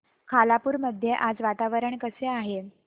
खालापूर मध्ये आज वातावरण कसे आहे